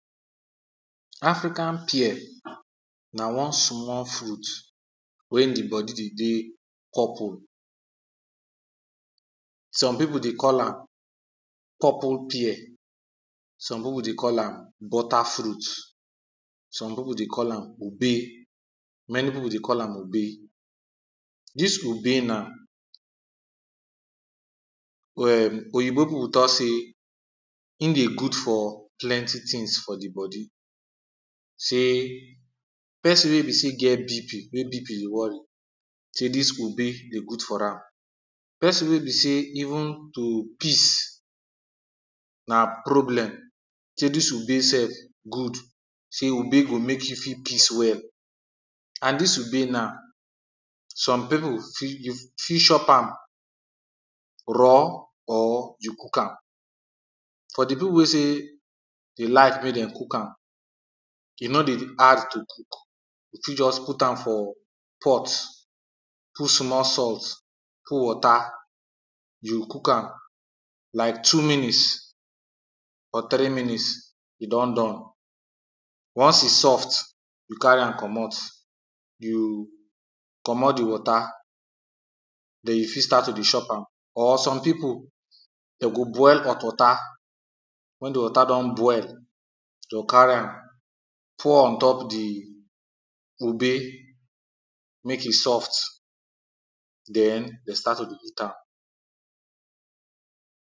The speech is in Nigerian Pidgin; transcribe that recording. African pear na one small fruit wey di body dey dey purple, some people dey call am purple pear, some people dey call am butter fruit, some people dey call am obe, many people dey call am obe. Dis obe na um oyinbo people tok say im dey good for plenty things for di body, say person wey be say e get BP, wey BP dey worry say dis obe dey good for am, person wey be say even to piss na problem say dis obe sef good, say obe go make you fit piss well and dis obe na some people fit use, fit shop am raw or you cook am. For di people wey say dey like make dem cook am e no dey hard to cook, you fit just put am for pot, put small salt, put water you cook am like two minutes or three minutes e don done, once e soft you carry am comot, you comot di water den, you fit start to dey chop am or some people dem go boil hot water, wen di water don boil dey go carry am pour on top di obe make e soft den dem start to dey eat am.